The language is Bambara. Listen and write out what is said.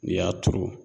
N'i y'a turu